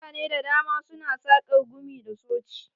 Mutane da dama su na saƙar gumi da soci.